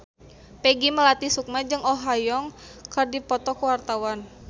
Peggy Melati Sukma jeung Oh Ha Young keur dipoto ku wartawan